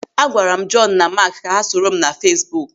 Agwara m Joonu na Maak ka ha soro m na Feesbuk.